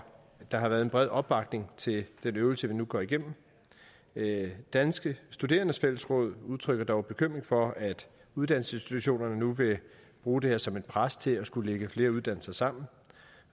der har været en bred opbakning til den øvelse vi nu går igennem danske studerendes fællesråd udtrykker dog bekymring for at uddannelsesinstitutionerne nu vil bruge det her som et pres til at skulle lægge flere uddannelser sammen